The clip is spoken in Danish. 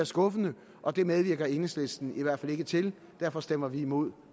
skuffende og det medvirker enhedslisten i hvert fald ikke til derfor stemmer vi imod